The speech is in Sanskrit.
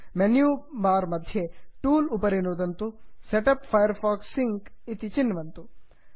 मेन्यु बार् मध्ये टूल्स् टूल्स् उपरि नुत्वा setup Firefox sync set up Firefox sync चिन्वन्तु